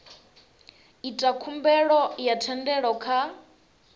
ita khumbelo ya thendelo kha